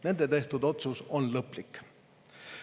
Nende tehtud otsus on lõplik.